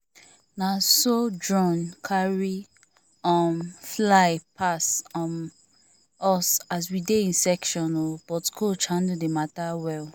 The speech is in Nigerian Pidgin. na so drone carry um fly pass um us as we dey in session o but coach handle the mata well